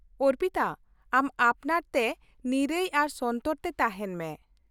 ᱚᱨᱯᱤᱛᱟ, ᱟᱢ ᱟᱯᱱᱟᱨᱛᱮ ᱱᱤᱨᱟᱹᱭ ᱟᱨ ᱥᱚᱱᱛᱚᱨ ᱛᱮ ᱛᱟᱦᱮᱱ ᱢᱮ ᱾